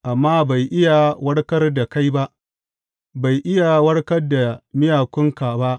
Amma bai iya warkar da kai ba, bai iya warkar da miyakunka ba.